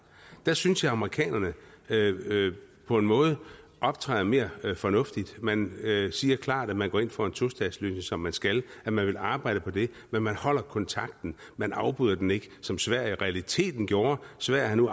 der synes jeg amerikanerne på en måde optræder mere fornuftigt man siger klart at man går ind for en tostatsløsning som man skal og at man vil arbejde for det men man holder kontakten man afbryder den ikke som sverige i realiteten gjorde sverige har nu